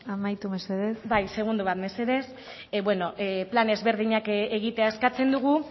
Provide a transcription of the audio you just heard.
amaitu mesedez bai segundu bat mesedez plan desberdinak egitea eskatzen dugu